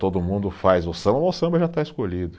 todo mundo faz o samba, mas o samba já está escolhido.